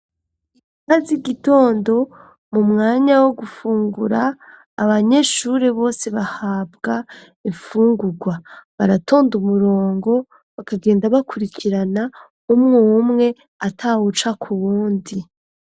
Iinka z'igitondo mu mwanya wo gufungura abanyeshure bose bahabwa imfungurwa baratonda umurongo bakagenda bakurikirana umwo umwe ata wuca ku wundi.